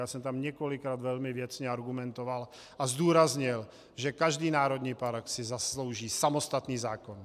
Já jsem tam několikrát velmi věcně argumentoval a zdůraznil, že každý národní park si zaslouží samostatný zákon.